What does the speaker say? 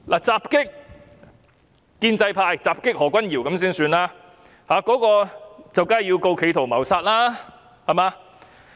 襲擊建制派何君堯議員的人，當然要被控告企圖謀殺，對嗎？